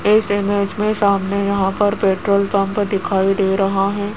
इस इमेज़ में सामने यहां पर पेट्रोल पंप दिखाई दे रहा है।